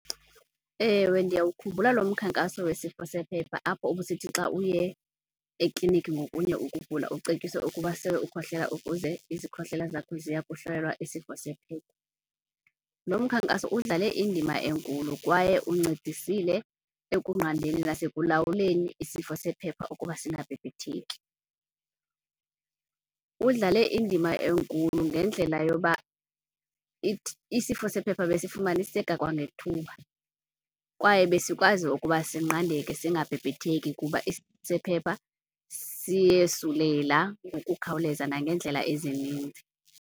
Ewe, ndiyawukhumbula lo mkhankaso wesifo sephepha apho ubusithi xa uye ekliniki ngokunye ukugula, ucetyiswe ukuba sele ukhohlela ukuze izikhohlela zakho ziya kuhlolelwa isifo sephepha. Lo mkhankaso udlale indima enkulu kwaye uncedisile ekunqandeni nasekulawuleni isifo sephepha ukuba singabhebhetheki. Udlale indima enkulu ngendlela yoba isifo sephepha besifumaniseka kwangethuba kwaye besikwazi ukuba sinqandeke singabhebhetheki, kuba isifo sephepha siyosulela ngokukhawuleza nangeendlela ezininzi.